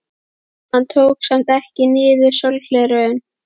Hann tók samt ekki niður sólgleraugun.